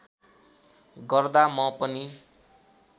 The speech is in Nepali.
गर्दा म पनि